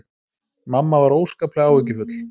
Mamma var óskaplega áhyggjufull.